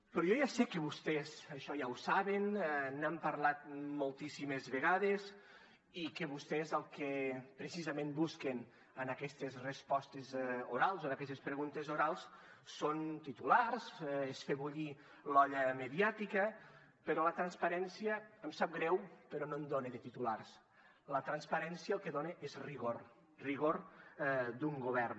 però jo ja sé que vostès això ja ho saben n’han parlat moltíssimes vegades i que vostès el que precisament busquen en aquestes respostes orals o en aquestes preguntes orals són titulars és fer bullir l’olla mediàtica però la transparència em sap greu però no en dona de titulars la transparència el que dona és rigor rigor d’un govern